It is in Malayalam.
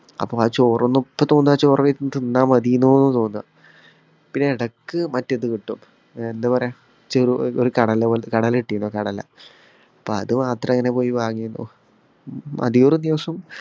അപ്പോ ആ ചോറൊന്നും, ഇപ്പം തോന്നുകാ ആ ചോറ് തിന്നാ മതീന്ന് തോന്നുക. പിന്നെ എടക്ക് മറ്റേത്‌ കിട്ടും. അഹ് എന്താ പറയ്ക? ചെറു ഒരു കടല പോലെ കടല കിട്ടീന്നു കടല. അപ്പൊ അത് മാത്രം പോയി വാങ്ങിന്നു. അധികേറും ദിവസം